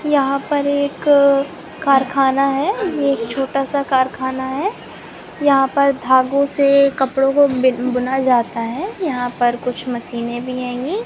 यहाँ पर एक कारखाना है ये एक छोटा- सा कारखाना है यहाँ पर धागों से कपड़ों को बुना जाता है यहाँ पर कुछ मशीनें भी हेंगी।